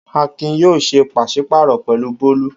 Akin yóò ṣe pàṣí-pààrọ̀ pẹ̀lú Bólú.